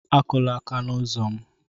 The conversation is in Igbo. Akụla aka n'ọnụ ụzọ ámá m!